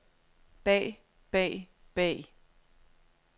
bag bag bag